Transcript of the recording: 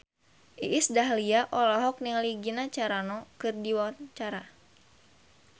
Iis Dahlia olohok ningali Gina Carano keur diwawancara